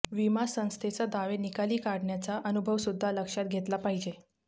विमा संस्थेचा दावे निकाली काढण्याचा अनुभवसुद्धा लक्षात घेतला पाहिजे